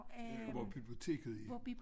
Hvor biblioteket er